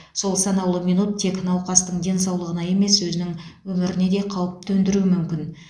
сол санаулы минут тек науқастың денсаулығына емес өзінің өміріне де қауіп төндіруі мүмкін